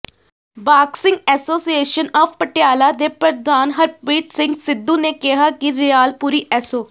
boxing association of Patiala ਦੇ ਪ੍ਰਧਾਨ ਹਰਪ੍ਰੀਤ ਸਿੰਘ ਸਿੱਧੂ ਨੇ ਕਿਹਾ ਕਿ ਰਿਆਲ ਪੁਰੀ ਐਸੋ